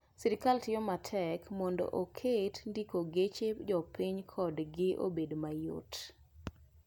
Sirkal tiyo matek mondo oket ndiko geche jopiny kodgi obed mayot.